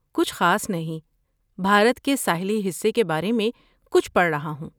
کچھ خاص نہیں، بھارت کے ساحلی حصے کے بارے میں کچھ پڑھ رہا ہوں۔